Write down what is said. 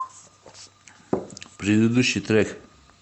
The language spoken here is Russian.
предыдущий трек